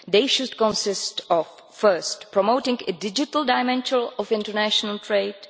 They should consist of first, promoting a digital dimension of international trade